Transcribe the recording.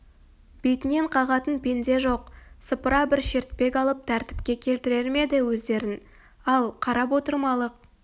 бетінен қағатын пенде жоқ сыпыра бір шертпек алып тәртіпке келтірер ме еді өздерін ал қарап отырмалық